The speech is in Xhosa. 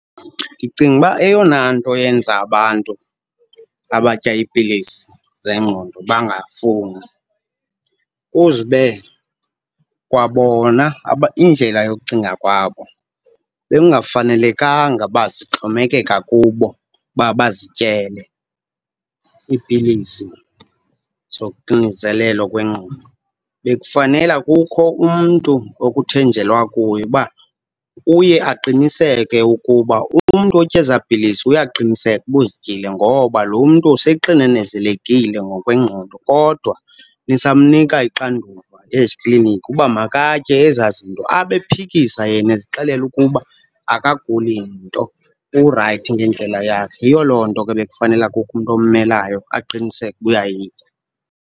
Ndicinga uba eyona nto eyenza abantu abatya iipilisi zengqondo bangafuni kuze ube kwabona indlela yokucinga kwabo, bekungafanelekanga uba sixhomekeka kubo uba bazityele iipilisi zoxinzelelo kwengqondo. Bekufanela kukho umntu okuthenjelwa kuye uba uye aqiniseke ukuba umntu otya ezaa pilisi uyaqiniseka uba uzityile ngoba lo mntu seyexinzelelekile ngokwengqondo kodwa nisamnika ixanduva ezikliniki uba makatye ezaa zinto abe ephikisa yena, ezixelela ukuba akaguli nto, urayithi ngendlela yakhe. Yiyo loo nto ke bekufanela kukho umntu ommelayo aqiniseke uba uyayitya.